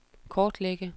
kortlægge